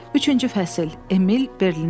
Üçüncü fəsil: Emil Berlinə gedir.